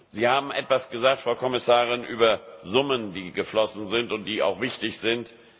Sie haben etwas gesagt, Frau Kommissarin, über Summen, die geflossen sind und die auch wichtig sind.